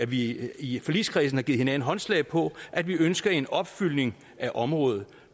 vi i forligskredsen har givet hinanden håndslag på at vi ønsker en opfyldning af området